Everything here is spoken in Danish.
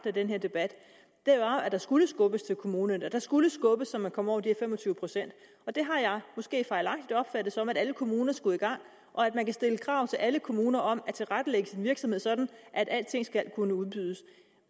af den her debat var at der skulle skubbes til kommunerne der skulle skubbes så man kommer over de fem og tyve procent det har jeg måske fejlagtigt opfattet som at alle kommuner skulle i gang og at man kan stille krav til alle kommuner om at tilrettelægge deres virksomhed sådan at alting skal kunne udbydes